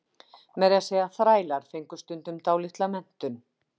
meira að segja þrælar fengu stundum dálitla menntun